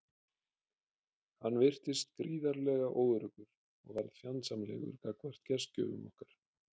Hann virtist gríðarlega óöruggur og varð fjandsamlegur gagnvart gestgjöfum okkar.